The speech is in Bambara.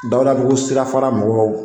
Dawudabugu sirafara mɔgɔw